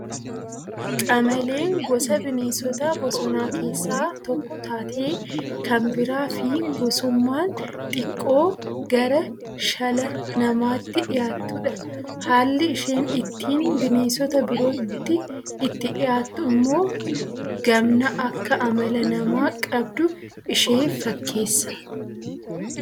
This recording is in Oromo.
Qamaleen gosa bineensota bosonaa keessaa tokko taatee kan biraa fi gosummmaan xiqqoo gara shala namaatti dhiyaattudha. Haalli isheen ittiin bineensota birootti itti dhiyaattu immoo gamna Akka Amala namaa qabdu ishee fakkeessa.